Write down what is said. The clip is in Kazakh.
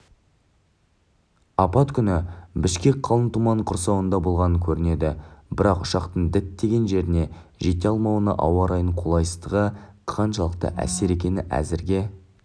апат күні бішкек қалың тұманның құрсауында болған көрінеді бірақ ұшақтың діттеген жеріне жете алмауына ауа райының қолайсыздығы қаншалықты әсер еткені әзірге